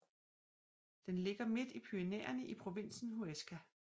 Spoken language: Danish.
Den ligger midt i Pyrenæerne i provinsen Huesca